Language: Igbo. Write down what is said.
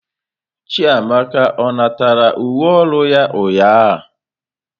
Chiamaka ọ natara uwe ọrụ ya ụnyahụ?